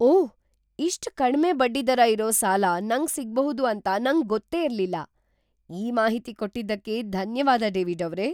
ಓಹ್! ಇಷ್ಟ್ ಕಡ್ಮೆ ಬಡ್ಡಿದರ ಇರೋ ಸಾಲ ನಂಗ್‌ ಸಿಗ್ಬಹುದು ಅಂತ ನಂಗೊತ್ತೇ ಇರ್ಲಿಲ್ಲ. ಈ ಮಾಹಿತಿ ಕೊಟ್ಟಿದ್ದಕ್ಕೆ ಧನ್ಯವಾದ ಡೇವಿಡ್ಅವ್ರೇ.